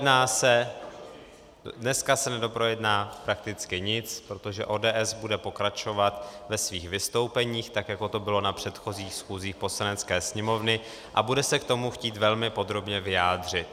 Dneska se nedoprojedná prakticky nic, protože ODS bude pokračovat ve svých vystoupeních tak, jako to bylo na předchozích schůzích Poslanecké sněmovny, a bude se k tomu chtít velmi podrobně vyjádřit.